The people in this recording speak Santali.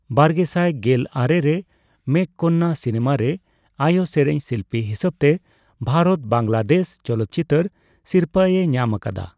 ᱵᱟᱨᱜᱮᱥᱟᱭ ᱜᱮᱞ ᱟᱨᱮ ᱨᱮ ᱢᱮᱜᱷᱚᱠᱱᱽᱱᱟ ᱥᱤᱱᱮᱢᱟ ᱨᱮ ᱟᱭᱚ ᱥᱮᱨᱮᱧ ᱥᱤᱞᱯᱤ ᱦᱤᱥᱟᱵ ᱛᱮ ᱵᱷᱟᱨᱚᱛ ᱵᱟᱝᱞᱟᱫᱮᱥ ᱪᱚᱞᱚᱪᱤᱛᱟᱹᱨ ᱥᱤᱨᱯᱟᱹ ᱮ ᱧᱟᱢ ᱟᱠᱟᱫᱟ᱾